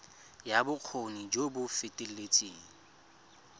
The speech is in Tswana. ya bokgoni jo bo feteletseng